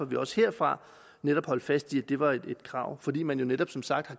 vi også herfra netop holdt fast i at det var et krav fordi man jo netop som sagt